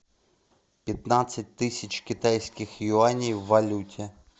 пятнадцать тысяч китайских юаней в валюте